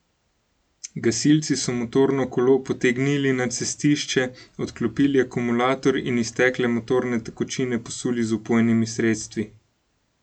Gasilci so motorno kolo potegnili na cestišče, odklopili akumulator in iztekle motorne tekočine posuli z vpojnimi sredstvi.